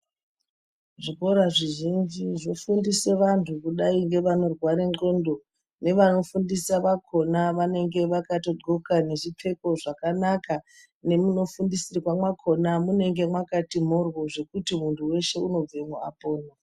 Zvikora zvizhinji zvefundise vantu kudai nevanorwara ndxondo nevanofundisa vakona vanengevakatodxoka nezvipfeko zvakanaka. Nemunofundisirwa mwakona munenge makati mhoryo zvekuti muntu veshe unobvamwo apona.